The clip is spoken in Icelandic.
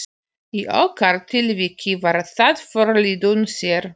Í okkar tilviki var það forliðurinn sér.